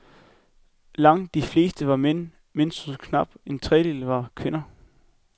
Langt de fleste var mænd, mens kun knap en trediedel var kvinder.